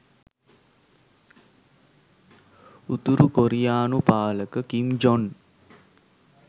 උතුරු කොරියානු පාලක කිම් ජොන්